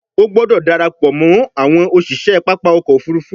O gbódò darapọ mọ àwọn òṣiṣẹ pápá ọkọ̀-òfurufú!